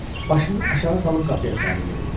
Başını aşağı salıb qapıya sarı yeridi.